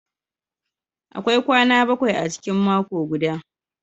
Akwai kwana bakwai a cikin mako guda.